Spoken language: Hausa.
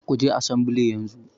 Kuje asambile yanzu